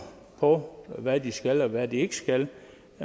på hvad de skal og hvad de ikke skal